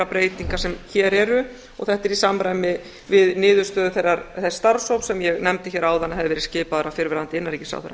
breytinga sem hér eru og þetta er í samræmi við niðurstöðu þess starfshóps sem ég nefndi hér áðan að hefði verið skipaður af fyrrverandi innanríkisráðherra